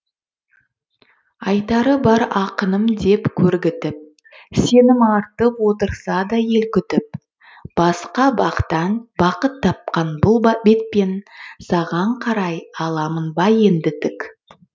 айтары бар ақыным деп кергітіп сенім артып отырса да ел күтіп басқа бақтан бақыт тапқан бұл бетпен саған қарай аламын ба енді тік